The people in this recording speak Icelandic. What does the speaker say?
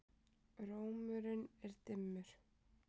Rómurinn er dimmur.